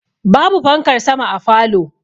Ba bu fankar sama a falow